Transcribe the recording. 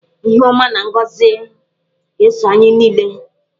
Ihe ọma na ngọzị ga-eso anyị niile.